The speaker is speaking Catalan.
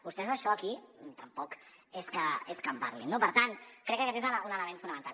vostès això aquí tampoc és que en parlin no per tant crec que aquest és un element fonamental